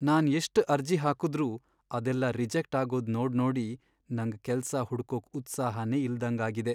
ನಾನ್ ಎಷ್ಟ್ ಅರ್ಜಿ ಹಾಕುದ್ರೂ ಅದೆಲ್ಲ ರಿಜೆಕ್ಟ್ ಆಗೋದ್ ನೋಡ್ನೋಡಿ ನಂಗ್ ಕೆಲ್ಸ ಹುಡ್ಕೊಕ್ ಉತ್ಸಾಹನೇ ಇಲ್ದಂಗಾಗಿದೆ.